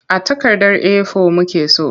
A takardar A4 muke so.